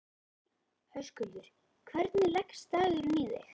Höskuldur: Hvernig leggst dagurinn í þig?